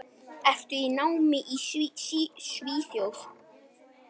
Ertu í námi í Svíþjóð?